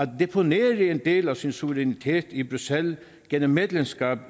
deponere en del af sin suverænitet i bruxelles gennem medlemskab af